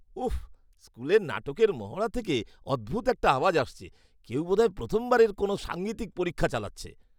উফ্! স্কু্লের নাটকের মহড়া থেকে অদ্ভুত একটা আওয়াজ আসছে। কেউ বোধহয় প্রথমবারের কোনও সাঙ্গীতিক পরীক্ষা চালাচ্ছে।